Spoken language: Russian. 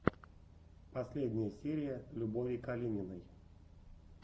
последняя серия любови калининой